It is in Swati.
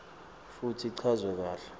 futsi ichazwe kahle